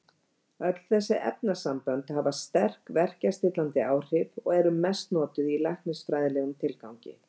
Öll þessi efnasambönd hafa sterk verkjastillandi áhrif og eru mest notuð í læknisfræðilegum tilgangi.